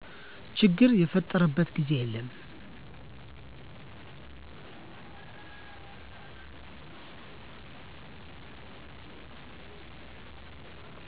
ችግር የፈጠረበት ጊዜ የለም